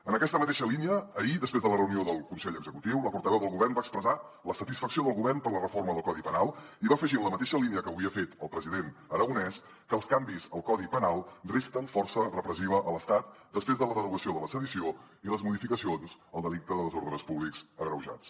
en aquesta mateixa línia ahir després de la reunió del consell executiu la portaveu del govern va expressar la satisfacció del govern per la reforma del codi penal i va afegir en la mateixa línia que avui ha fet el president aragonès que els canvis al codi penal resten força repressiva a l’estat després de la derogació de la sedició i les modificacions al delicte de desordres públics agreujats